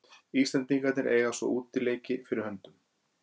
Íslendingarnir eiga svo útileiki fyrir höndum.